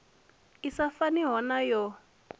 i sa faniho na yo